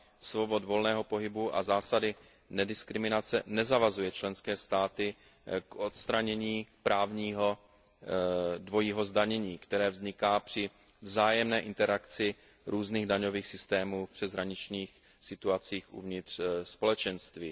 svobody volného pohybu a zásady nediskriminace nezavazuje členské státy k odstranění právního dvojího zdanění, které vzniká při vzájemné interakci různých daňových systémů v přeshraničních situacích uvnitř Společenství.